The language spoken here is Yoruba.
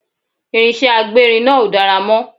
Irinṣẹ́ agbérin náà ò dára mọ́